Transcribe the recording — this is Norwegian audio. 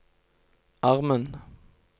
armen